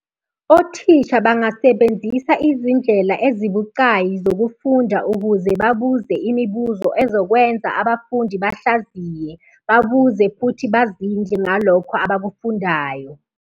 Othisha bangasebenzisa izindlela ezibucayi zokufunda ukuze babuze imibuzo ezokwenza abafundi bahlaziye, babuze futhi bazindle ngalokho abakufundayo.